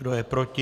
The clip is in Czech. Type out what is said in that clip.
Kdo je proti?